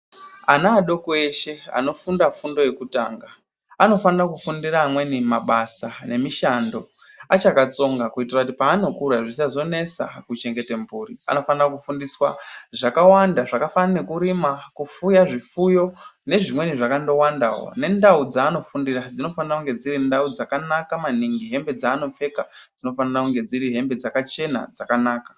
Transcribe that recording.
Ana adoko eshe anofunda fundo yekutanga anofanira ku fundira amweni mabasa ne mishando achaka tsonga kuitira kuti paano kura zvisazo nesa ku chengete mburi anofanira ku fundiswa zvakawanda zvaka fanana nekurima ku fuya zvifuyo ne zvimweni zvakando wandawo ne ndau dzaano fundira dzino fanira kunge dziri ndau dzakanaka maningi hembe dzaano pfeka dzinofanira kunge dziri hembe dzakachena dzakanaka.